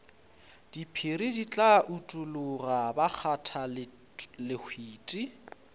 diphiri di tla utologa bakgathalehwiti